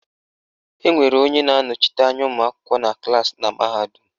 Enwere onye na-anọchite anya ụmụakwụkwọ na klaasị na mahadum